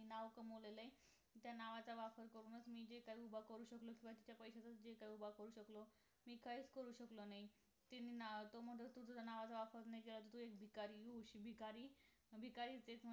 नावं कमवलेलं त्या नावाचा वापर करूनच मी जे काही उभा करू शकलो ते तुझ्या पैशातून च उभा करू शकलो मी काहीच करू शकलो नाही ते नाव तो म्हणतो तुझ्या नावाचा वापर नाही केला तर तू एक भिकारी होशील भिकारी भिकारी तेच